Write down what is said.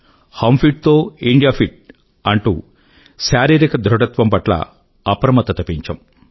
हम फिट तो India fit అంటూ శారీరిక ధృఢత్వం పట్ల అప్రమత్తత పెంచాము